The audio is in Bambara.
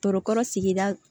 Tɔɔrɔ sigida